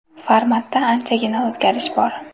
Formatda anchagina o‘zgarish bor.